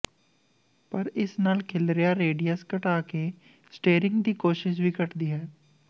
ਪਰ ਇਸ ਨਾਲ ਖਿਲਰਿਆ ਰੇਡੀਅਸ ਘਟਾ ਕੇ ਸਟੀਅਰਿੰਗ ਦੀ ਕੋਸ਼ਿਸ਼ ਵੀ ਘਟਦੀ ਹੈ